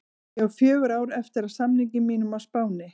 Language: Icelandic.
Ég á fjögur ár eftir af samningi mínum á Spáni.